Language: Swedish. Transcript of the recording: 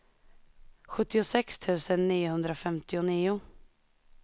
sjuttiosex tusen niohundrafemtionio